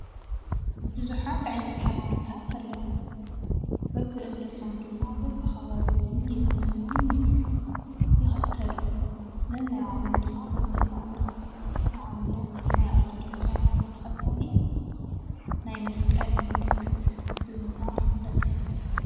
ቡዙሓት ዓይነት ሃይማኖታት ኣለዉ፡፡ በቢእምነቶም ድማ በቢከባቢኡ ይእመኑን ይክተሉን፡፡ ነናይ ባዕሎም ድማ መግለፂ ኣለዎም፡፡ ንኣብነት ናይ ኦርተዶክስ ሃይማኖት ተከታሊ ናይ መስቀል ምልክት ብምግባር ይፍለጥ፡፡